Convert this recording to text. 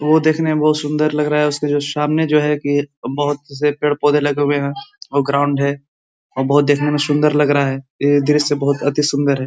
वो देखने में बोहोत सुन्दर लग रहा है उसके जो सामने जो है कि बोहोत से पेड़-पौधे लगे हुए हैं और ग्राउंड है और बोहोत देखने में सुन्दर लग रहा है। ये दृश्य बहोत अति सुंदर है।